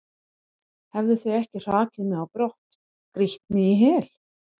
hefðu þau ekki hrakið mig á brott, grýtt mig í hel?